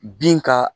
Bin ka